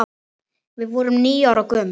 Við vorum níu ára gömul.